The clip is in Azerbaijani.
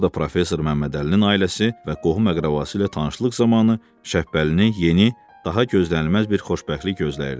Burda professor Məmmədəlinin ailəsi və qohum-əqrəbası ilə tanışlıq zamanı Şəpbəlini yeni, daha gözlənilməz bir xoşbəxtlik gözləyirdi.